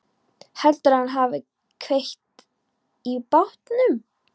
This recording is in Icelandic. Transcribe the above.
Heldurðu að hann hafi kveikt í bátnum?